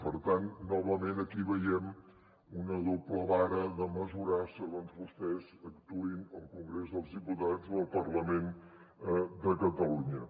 per tant novament aquí veiem una doble vara de mesurar segons vostès actuïn al congrés dels diputats o al parlament de catalunya